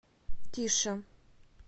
тише